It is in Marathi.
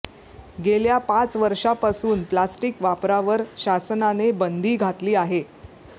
गेल्या पाच वर्षापासून प्लास्टिक वापरावर शासनाने बंदी घातली आहे